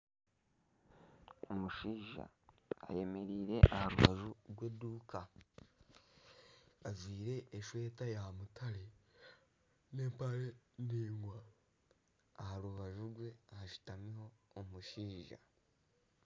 Omushaija ayemereire aharubaju rw'eduuka. Ajwire eshweta ya mutare n'empare ningwa. Aharubaju rwe hashutamiho omushaija.